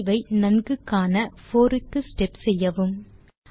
விளைவை நன்கு காண 4 க்கு ஸ்டெப் செய்யவும்